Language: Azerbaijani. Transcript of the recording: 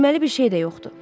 Deyilməli bir şey də yoxdur.